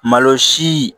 Malo si